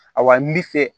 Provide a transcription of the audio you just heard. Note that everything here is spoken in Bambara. A wa ni bi fɛ